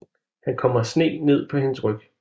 Han kommer sne ned på hendes ryg